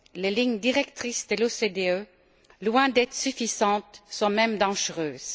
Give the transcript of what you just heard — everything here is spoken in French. Les lignes directrices de l'OCDE, loin d'être suffisantes, sont même dangereuses.